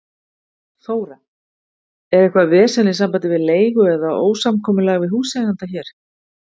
Þóra: Er eitthvað vesen í sambandi við leigu eða ósamkomulag við húseiganda hér?